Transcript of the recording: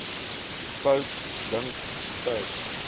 fout dink sou